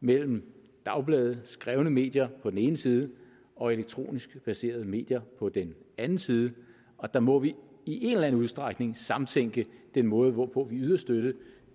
mellem dagblade skrevne medier på den ene side og elektronisk baserede medier på den anden side og der må vi i en eller anden udstrækning samtænke den måde hvorpå vi yder støtte